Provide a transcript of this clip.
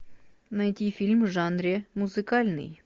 найди фильм в жанре музыкальный